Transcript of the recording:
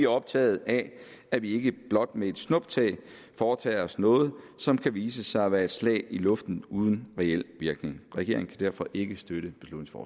optaget af at vi ikke blot med et snuptag foretager os noget som kan vise sig at være et slag i luften uden reel virkning regeringen kan derfor ikke støtte